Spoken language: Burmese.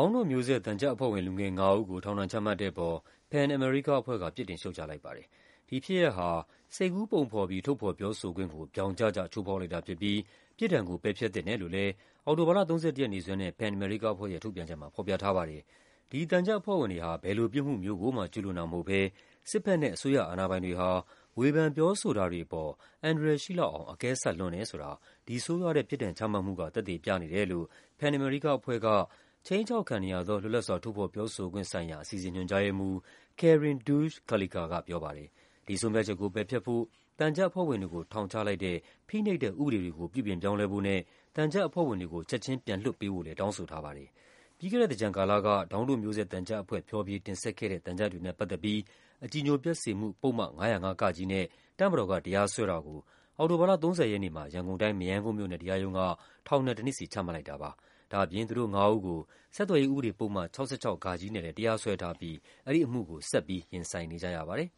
င်းတို့မျိုးဆက် သံချပ်အဖွဲ့ဝင် လူငယ် ၅ ဦးကို ထောင်ဒဏ်ချမှတ်တဲ့အပေါ် PEN America အဖွဲ့က ပြစ်တင်ရှုတ်ချလိုက်ပါ တယ်။ ဒီဖြစ်ရပ်ဟာ စိတ်ကူးပုံဖော်ပြီး ထုတ်ဖော်ပြောဆိုခွင့်ကို ဗြောင်ကျကျ ချိုးဖောက်လိုက်တာဖြစ်ပြီး ပြစ်ဒဏ်ကို ပယ်ဖျက်သင့် တယ်လို့လည်း အောက်တိုဘာလ ၃၁ ရက်နေ့စွဲနဲ့ PEN America အဖွဲ့ရဲ့ ထုတ်ပြန်ချက်မှာ ဖော်ပြထားပါတယ်။ ဒီသံချပ်အဖွဲ့ဝင်တွေဟာ ဘယ်လိုပြစ်မှုမျိုးကိုမှ ကျူးလွန်တာမဟုတ်ဘဲ စစ်ဘက်နဲ့ အစိုးရအာဏာပိုင်တွေဟာ ဝေဖန်ပြောဆိုတာ တွေအပေါ် အန္တရာယ်ရှိလောက်အောင် အကဲဆတ်လွန်းတယ်ဆိုတာ ဒီဆိုးရွားတဲ့ ပြစ်ဒဏ်ချမှတ်မှုက သက်သေပြနေတယ်လို့ PEN America အဖွဲ့က ခြိမ်းခြောက်ခံနေရသော လွတ်လပ်စွာ ထုတ်ဖော်ပြောဆိုခွင့်ဆိုင်ရာ အစီအစဉ် ညွှန်ကြားရေးမှူး Karin Deutsch Karlekar ကပြောပါတယ်။ ဒီဆုံးဖြတ်ချက်ကို ပယ်ဖျက်ဖို့၊ သံချပ်အဖွဲ့ဝင်တွေကို ထောင်ချလိုက်တဲ့ ဖိနှိပ်တဲ့ ဥပဒေတွေ ကို ပြုပြင်ပြောင်းလဲဖို့နဲ့ သံချပ်အဖွဲ့ဝင်တွေကို ချက်ခြင်းပြန်လွှတ်ပေးဖို့လည်း တောင်းဆိုထားပါတယ်။ ပြီးခဲ့တဲ့သင်္ကြန်ကာလက ဒေါင်းတို့မျိုးဆက် သံချပ်အဖွဲ့ ဖျော်ဖြေတင်ဆက်ခဲ့တဲ့ သံချပ်တွေနဲ့ပတ်သက်ပြီး အကြည်ညိုပျက်စေမှု ပုဒ်မ ၅၀၅ (က) နဲ့ တပ်မတော်က တရားစွဲတာကို အောက်တိုဘာလ ၃၀ ရက်နေ့မှာ ရန်ကုန်တိုင်း၊ မရမ်းကုန်းမြို့နယ်တရားရုံးက ထောင်ဒဏ် ၁ နှစ်စီ ချမှတ်လိုက်တာပါ။ ဒါ့အပြင် သူတို့ငါးဦးကို ဆက်သွယ်ရေး ဥပဒေပုဒ်မ ၆၆ (ဃ) နဲ့လည်း တရားစွဲထားပြီး အဲဒီအမှုကို ဆက်ပြီး ရင်ဆိုင်နေကြရပါ တယ်